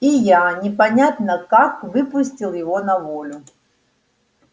и я непонятно как выпустил его на волю